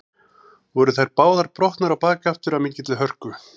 Voru þær báðar brotnar á bak aftur af mikilli hörku.